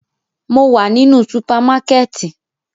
Mo wa ninu supamakẹti